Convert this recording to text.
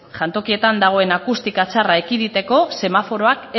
jantokietan dagoen akustika txarra ekiditeko semaforoak